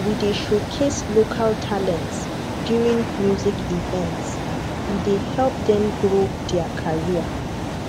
we dey showcase local talents during music events e dey help them grow their career